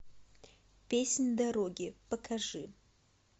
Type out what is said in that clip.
песнь дороги покажи